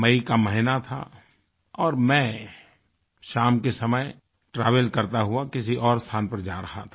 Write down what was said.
मई का महीना था और मैं शाम के समय ट्रैवल करता हुआ किसी और स्थान पर जा रहा था